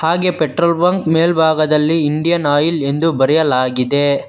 ಹಾಗೆ petrol bunk ಮೇಲ್ಭಾಗದಲ್ಲಿ Indian Oil ಎಂದು ಬರೆಯಲಾಗಿದೆ.